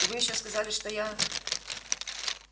и вы ещё сказали что я